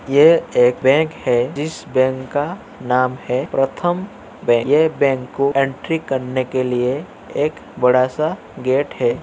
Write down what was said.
ये एक बैंक है जिस बैंक का नाम है प्रथम बैंक । ये बैंक को एंट्री करने के लिए एक बड़ा सा गेट है।